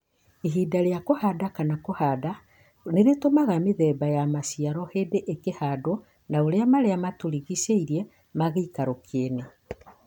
Ihinda rĩa kũhanda kana kũhanda nĩitũmaga mĩthemba ya maciaro hĩndĩ ikũhandwo na ũrĩa maria matũrigicĩirie ma gĩikaro kĩene.